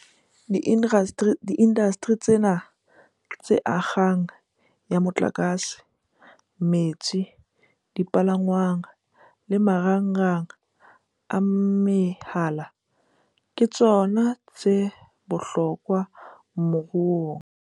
Diindasteri tsena - tse akgang ya motlakase, metsi, dipalangwang le marangrang a mehala - ke tsona tsa bohlokwa moruong.